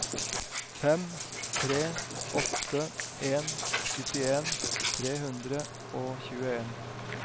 fem tre åtte en syttien tre hundre og tjueen